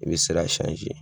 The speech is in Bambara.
I bɛ sira